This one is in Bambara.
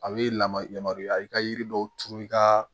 A bɛ lamaga yamaruya i ka yiri dɔw turu i ka